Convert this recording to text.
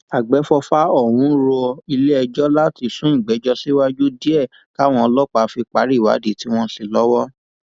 àgbẹfọfà ọhún rọ iléẹjọ láti sún ìgbẹjọ síwájú díẹ káwọn ọlọpàá fi parí ìwádìí tí wọn ń ṣe lọwọ